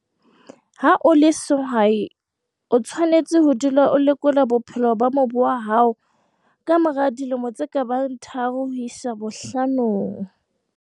Ha o le sehwai, o tshwanetse ho dula o lekola bophelo ba mobu wa hao ka mora dilemo tse ka bang tharo ho isa bohlanong.